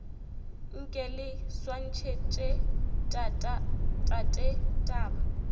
nke le swantšhetše tate taba